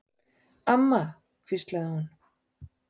Amma, hvíslaði hún.